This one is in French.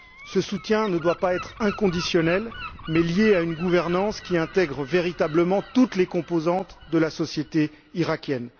Ce soutien ne doit pas être inconditionnel, mais lié à une gouvernance qui intègre véritablement toutes les composantes de la société irakienne.